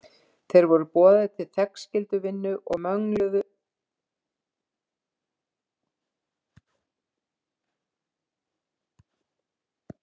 Þeir voru boðaðir til þegnskylduvinnu og mögluðu ef Jón biskup var fjarri.